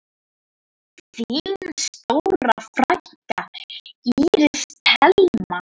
Þín stóra frænka, Íris Thelma.